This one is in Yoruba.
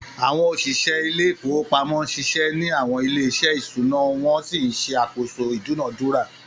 Àwọn òṣìṣẹ́ ilé ìfowópamọ́ ń ṣiṣẹ́ ní àwọn ilé-iṣẹ́ ìṣúná wọ́n sì ń ṣàkóso ìdúnàádúrà.